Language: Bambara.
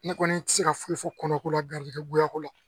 Ne kɔni tɛ se ka foyi fɔ kɔnɔko la garijɛgɛ goya la